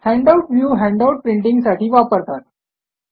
handout view handout प्रिंटींगसाठी वापरतात